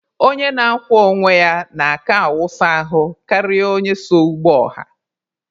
Onye na-akwọ onwe ya n'aka awụsa ahụ karịa onye so ụgbọ ọha.